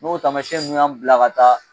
N'o tamamɛsiyɛn ninnu y'an bila ka taa